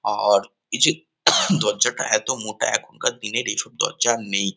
আ আর এই যে দরজাটা এতো মোটা এখানকার দিনের এইসব দরজা আর নেই।